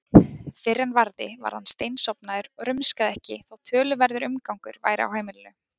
Fyrr en varði var hann steinsofnaður og rumskaði ekki þótt töluverður umgangur væri á heimilinu.